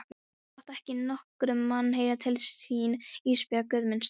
Láttu ekki nokkurn mann heyra til þín Ísbjörg Guðmundsdóttir.